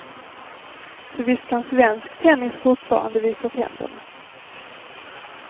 Så visst kan svensk tennis fortfarande visa tänderna.